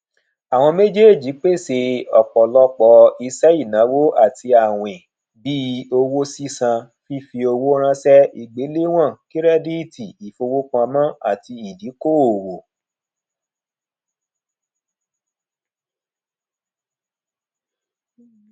àwọn méjéèjì pèsè ọpọlọpọ iṣẹ ìnáwó àti àwìn bí owó sísan fífi owó ránṣẹ ìgbéléwọn kírẹdíìtì ìfọwọpamọ àti ìdíkòòwò